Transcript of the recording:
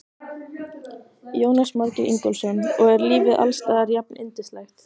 Jónas Margeir Ingólfsson: Og er lífið alls staðar jafnyndislegt?